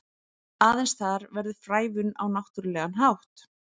Aðeins þar verður frævun á náttúrlegan hátt.